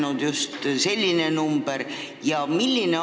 Miks just selline number?